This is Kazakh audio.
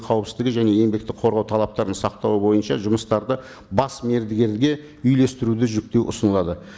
қауіпсіздігі және еңбекті қорғау талаптарын сақтау бойынша бас мердігерге үйлестіруді жүктеу ұсынылады